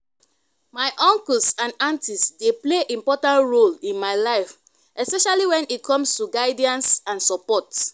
my uncles and aunties dey play important role in my life especially when it comes to guidance and support.